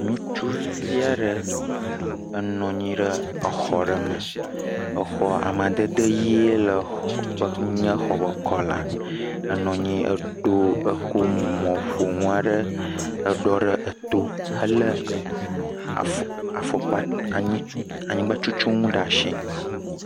Ŋutsuvi aɖe enɔ anyi ɖe exɔ aɖe me. Ahhhhh Amadede ɣie nye exɔ ƒe kpla. Enɔ nyo eɖo, ekɔ mɔƒonu aɖe eɖɔ ɖe eto hele afɔkpa anyi, anyigba tutu nu ɖe asi.